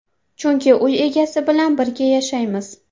Chunki uy egasi bilan birga yashaymiz.